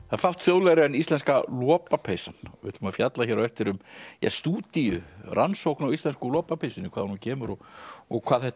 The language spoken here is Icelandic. það er fátt þjóðlegra en íslenska lopapeysan við ætlum að fjalla hér á eftir um stúdíu rannsókn á íslensku lopapeysunni hvaðan hún kemur og og hvað þetta